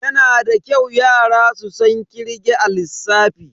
Yana da kyau yara su san kirge a lissafi.